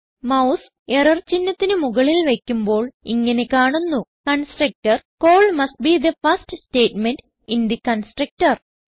mouse error ചിഹ്നത്തിന് മുകളിൽ വയ്ക്കുമ്പോൾ ഇങ്ങനെ കാണുന്നു constructor call must be the first statement in the constructor